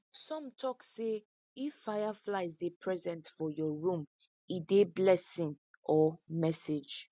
some tok say if fireflies dey present for your room e dey blessing or message